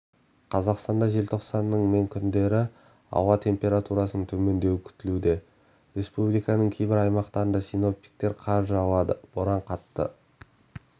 қазақстанда желтоқсанның мен күндері ауа температурасының төмендеуі күтілуде республиканың кейбір аймақтарында синоптиктер қар жауады боран қатты